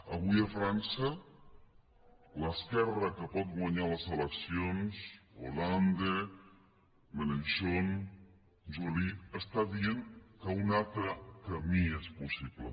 avui a frança l’esquerra que pot guanyar les eleccions hollande mélenchon joly està dient que un altre camí és possible